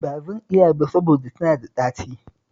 Ba zan iya ba saboda tana da ɗaci